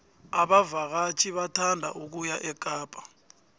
abavakatjhi bathanda ukuya ekapa